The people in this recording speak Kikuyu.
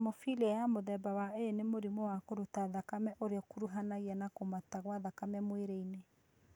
Hemofilia ya mũthemba wa A nĩ mũrimũ wa kũruta thakame ũrĩa ũkũruhanagia na kũmata gwa thakame mwĩrĩ-inĩ